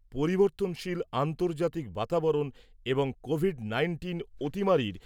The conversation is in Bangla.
পরিবর্তনশীল আন্তর্জাতিক বাতাবরণ এবং কোভিড নাইন্টিন অতিমারীর